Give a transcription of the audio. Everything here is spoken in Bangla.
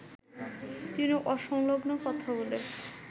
তিনি অসংলগ্ন কথা বলে